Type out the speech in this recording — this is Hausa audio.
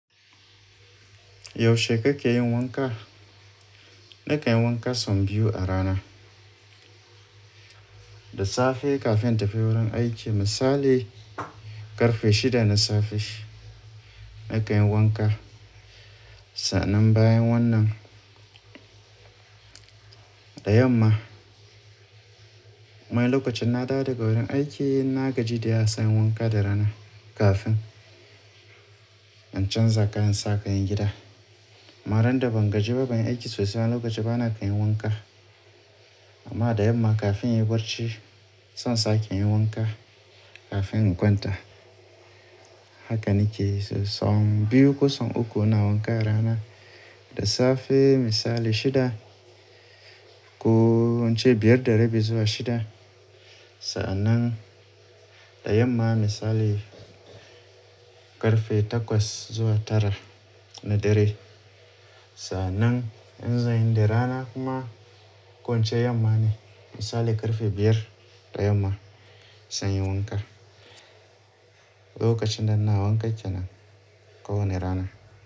Yaushe kake yin wanka? Na kanyi wanka sau biyu a rana. Da safe kafin in tafi wurin aiki, misali ƙarfe shida na safe na kanyi wanka. Sa'annan bayan wannan, da yamma kuma lokacin na dawo daga wurin aiki na gaji da yawa sai in yi wanka da rana kafin in canza kayan in sa kayan gida. Amma randa ban gaji ba ban aiki sosai lokacin bana kai yin wanka. Amma da yamma kafin in yi barci, zan sake yin wanka kafin in kwanta. Haka ni ke yi sau biyu ko sau uku ina wanka a rana. Da safe misali shida ku ince biyar da rabi zuwa shida. Sa'nan da yamma misali ƙarfe takwas zuwa tara na dare. Sa'anan in zanyi ni da rana kuma ko ince yamma ne misali ƙarfe biyar da yamma sai inyi wanka. Lokacin da ina wanka kenan kawani rana.